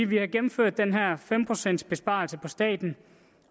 vi har gennemført den her fem procents besparelse i staten